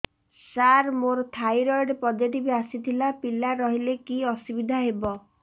ସାର ମୋର thyroid positive ଆସିଥିଲା ପିଲା ରହିଲେ କି ଅସୁବିଧା ହେବ